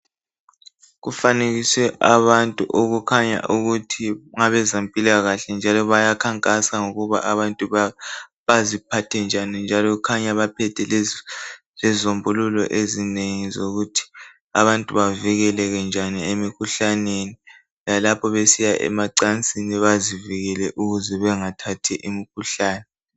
Kufanekisiwe abantu abakhanya ngokuthi ngabempilakahle njalo bayakhankasa ngokuthi abantu baziphathe njani njalo kukhanya baphethe lezombuluko ezinengi zokuthi abantu bavikeleke njani emikhuhlaneni lapho besiya emacansini bazivikele bengathathi imikhuhlane.